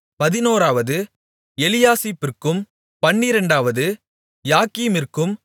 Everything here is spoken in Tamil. பதினோராவது எலியாசிபிற்கும் பன்னிரெண்டாவது யாக்கீமிற்கும்